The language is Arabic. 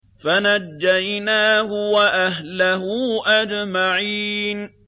فَنَجَّيْنَاهُ وَأَهْلَهُ أَجْمَعِينَ